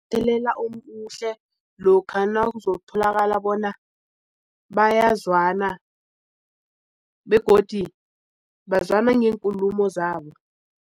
Umthelela omuhle lokha nakuzokutholakala bona bayazwana begodu bazwana ngeenkulumo zabo.